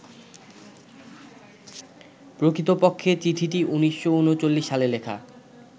প্রকৃতপক্ষে চিঠিটি ১৯৩৯ সালে লেখা